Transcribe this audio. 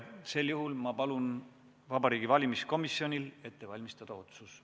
Sel juhul palun ma Vabariigi Valimiskomisjonil ette valmistada otsus.